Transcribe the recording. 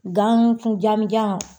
Gan kun janmujan